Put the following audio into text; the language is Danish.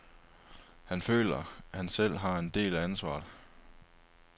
Han føler, at han selv har en del af ansvaret.